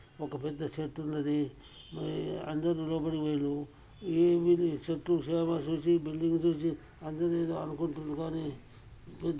ఒక పెద్ద చెట్టు ఉన్నది. ఈ అందరూ లోపలికి పోయిల్లు. ఈ మీది చెట్టు చేమ చూసి బిల్డింగ్ చూసి అందరూ ఏదో అనుకుంటురు కానీ